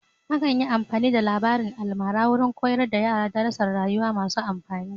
Akan yi amfani da labarin almara wurin koyar da yara darasar rayuwa masu amfani.